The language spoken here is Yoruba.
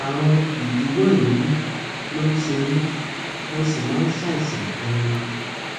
ààrùn ìdíwọ èémí ló ń ṣe mí mo sì máa ń ṣàìsàn ganan